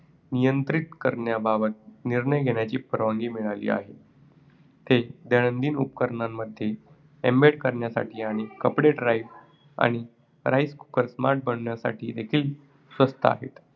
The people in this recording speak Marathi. नियंत्रित करण्याबाबत निर्णय घेण्याची परवानगी मिळाली आहे. ते दैनंदिन उपकरणांमध्ये embed करण्यासाठी आणि कपडे dryer आणि rice cooker smart बनविण्यासाठी देखील स्वस्त आहेत.